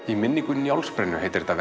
í minningu Njálsbrennu heitir þetta